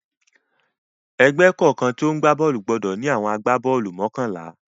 Ẹgbẹ́ kọ̀ọ̀kan tó ń gbá bọ́ọ́lù gbọdọ̀ ní àwọn agbá-bọ́ọ́lù mọ́kànlá.q